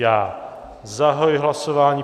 Já zahajuji hlasování.